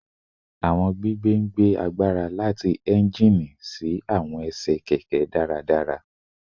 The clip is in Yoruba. Awọn gbigbe gbigbe agbara lati engine si awọn kẹkẹ daradara